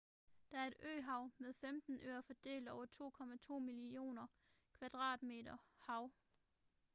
det er et øhav med 15 øer fordelt over 2,2 millioner km2 hav